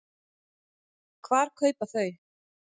Hvar kaupa þau?